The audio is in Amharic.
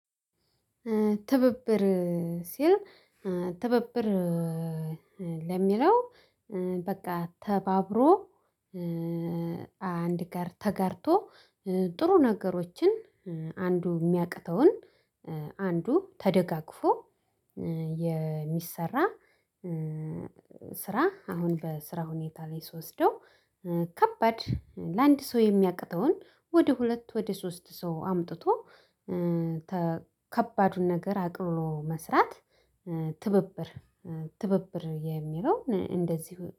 ትብብር ሲል ትብብር ለሚለው በቃ ተባብሮ አንድ ጋር ተጋርቶ ጥሩ ነገሮችን አንዱ የሚያቅተውን አንዱ ተደጋግፎ የሚሰራ። ስራ አሁን በስራ ሁኔታ ላይ ስወስደው ከባድ ለአንድ ሰው የሚያቅተውን ወደ ሁለት ወደ ሶስት ሰው አምጥቶ ከባዱን ነገር አቅልሎ መስራት። ትብብር ትብብር የሚለው እንደዚሁ